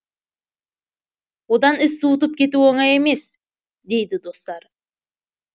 одан із суытып кету оңай емес дейді достары